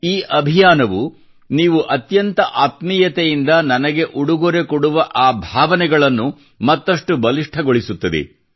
ಈ ಅಭಿಯಾನವು ನೀವು ಅತ್ಯಂತ ಆತ್ಮೀಯತೆಯಿಂದ ನನಗೆ ಉಡುಗೊರೆ ಕೊಡುವ ಆ ಭಾವನೆಗಳನ್ನು ಮತ್ತಷ್ಟು ಬಲಿಷ್ಠಗೊಳಿಸುತ್ತದೆ